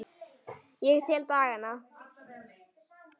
Ég tel dagana.